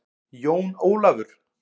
Jón Ólafur!